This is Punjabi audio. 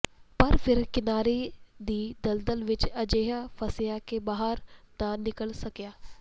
ਪਰ ਫਿਰ ਕਿਨਾਰੇ ਦੀ ਦਲਦਲ ਵਿਚ ਅਜਿਹਾ ਫਸਿਆ ਕਿ ਬਾਹਰ ਨਾ ਨਿਕਲ ਸਕਿਆ